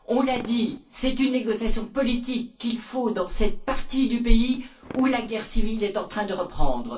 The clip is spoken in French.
On l'a dit, c'est une négociation politique qu'il faut dans cette partie du pays où la guerre civile est en train de reprendre.